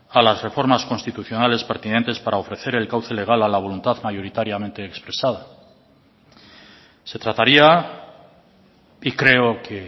a las reformas constitucionales pertinentes para ofrecer el cauce legal a la voluntad mayoritariamente expresada se trataría y creo que